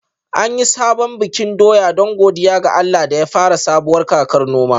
An yi sabon bikin doya don godiya ga Allah da ya fara sabuwar kakar noma